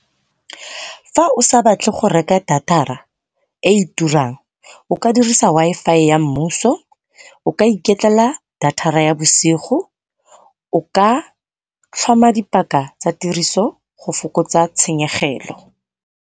Fa o sa batle go reka data-ra e e turang o ka dirisa Wi-Fi ya mmuso, o ka iketlela data-ra ya bosigo, o ka tlhoma dipaka tsa tiriso go fokotsa tshenyegelo.